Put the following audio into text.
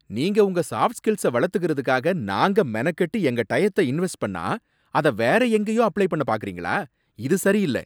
நீங்க உங்க சாஃப்ட்ஸ்கில்ஸ வளத்துகிறதுக்காக நாங்க மெனக்கெட்டு எங்க டயத்த இன்வெஸ்ட் பண்ணா, அத வேற எங்கேயே அப்ளை பண்ண பாக்குறீங்களா? இது சரியில்ல!